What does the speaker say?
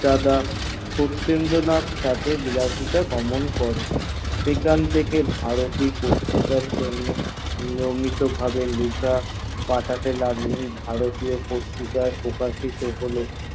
দাদা সটতেন্দ্রনাথ তাতে বিরাজ মান ছিল সেখান থেকে ভারতীয় পত্রিকার জন্য নিয়মিত প্রকাশিত হল